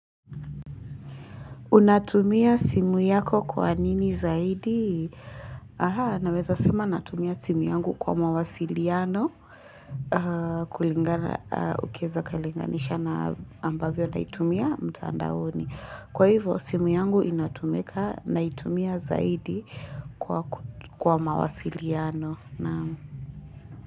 Unatumia simu yako kwa nini zaidi? Aha, naweza sema natumia simu yangu kwa mawasiliano. Kulingana, ukaweza kalinganisha na ambavyo naitumia mtandaoni. Kwa hivyo, simu yangu inatumika naitumia zaidi kwa mawasiliano.